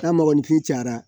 N'a mɔgɔninfin cayara